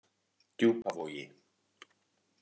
Djúpavogi